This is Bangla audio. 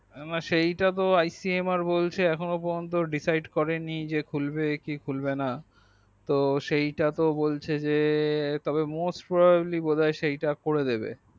সেইটা তো icmr বলছে এখন ও পর্যন্ত decide করেনি যে খুলবে কি খুলবে না তো সেই টা তো বলছে যে তবে most Probably বোধয় করে দেবে